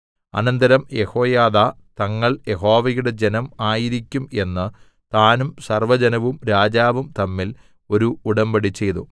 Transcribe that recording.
അനന്തരം യെഹോയാദാ തങ്ങൾ യഹോവയുടെ ജനം ആയിരിക്കും എന്ന് താനും സർവ്വജനവും രാജാവും തമ്മിൽ ഒരു ഉടമ്പടിചെയ്തു